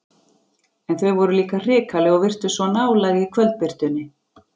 En þau voru líka hrikaleg og virtust svo nálæg í kvöldbirtunni.